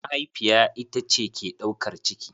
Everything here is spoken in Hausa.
Mahaifiya ita ce ke ɗaukar ciki.